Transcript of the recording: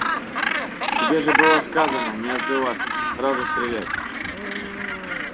тебе же было сказано не отзыватся сразу стрелять